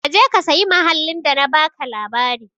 Ka je ka sayi mahallin da na baka labari.